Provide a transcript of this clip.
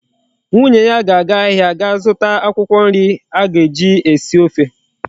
Nwunye ya ga aga ahia ga zuta akwukwo nri aga eji esi ofe